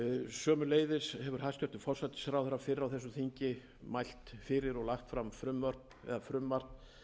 sömuleiðis hefur hæstvirtur forsætisráðherra fyrr á þessu þingi mælt fyrir og lagt fram frumvörp eða frumvarp